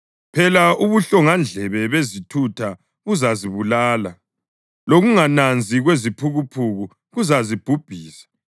Phela ubuhlongandlebe bezithutha buzazibulala, lokungananzi kweziphukuphuku kuzazibhubhisa;